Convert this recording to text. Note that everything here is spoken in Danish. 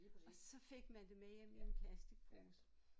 Og så fik man det med hjem i en plastikpose